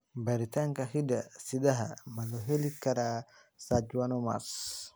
Baaritaanka hidde-sidaha ma loo heli karaa schwannomas?